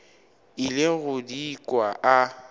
ile go di kwa a